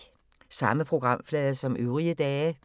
Samme programflade som øvrige dage